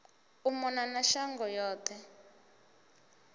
u mona na shango yoṱhe